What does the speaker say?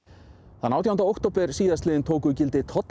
þann átjánda október síðastliðinn tóku gildi tollar